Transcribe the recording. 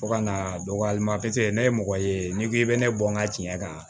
Fo ka n'a dɔgɔya ne ye mɔgɔ ye n'i ko k'i bɛ ne bɔ n ka tiɲɛ kan